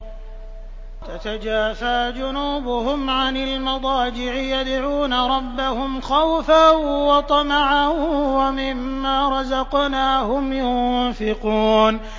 تَتَجَافَىٰ جُنُوبُهُمْ عَنِ الْمَضَاجِعِ يَدْعُونَ رَبَّهُمْ خَوْفًا وَطَمَعًا وَمِمَّا رَزَقْنَاهُمْ يُنفِقُونَ